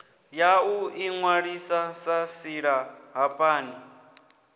ya u inwalisa sa silahapani